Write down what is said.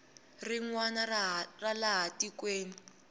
rin wana ra laha tikweni